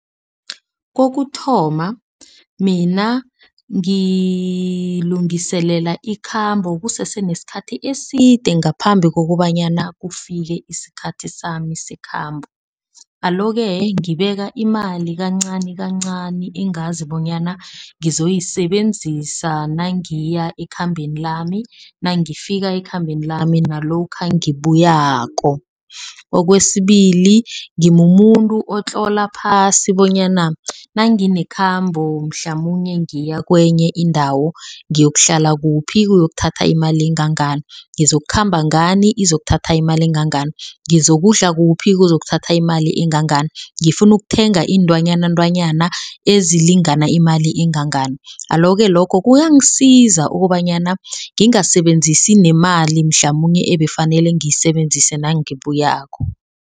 Kokuthoma mina ngilungiselela ikhambo kusese nesikhathi eside ngaphambi kokobanyana kufike isikhathi sami sekhambo. Alo-ke ngibeka imali kancanikancani. Engazi bonyana ngizoyisebenzisa nangiya ekhambeni lami, nangifika ekhambeni lami, nalokha nangibuyako. Okwesibili ngimumuntu otlola phasi bonyana nanginekhambo mhlamunye ngiya kwenye indawo ngiyokuhlala kuphi, kuzokuthatha imali engangani. Ngizokukhamba ngani izokuthatha imali engangani. Ngizokudla kuphi kuzokuthatha imali engangani. Ngifuna ukuthenga iintwanyana iintwanyana ezilingana imali engangani. Alo-ke lokho kuyangisiza ukobanyana ngisebenzise nemali mhlamunye ebefanele ngiyisebenzise nangibuyako.